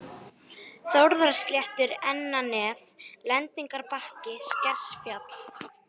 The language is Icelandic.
Þórðarsléttur, Ennanef, Lendingarbakki, Skersfjall